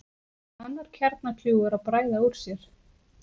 Annar kjarnakljúfur að bræða úr sér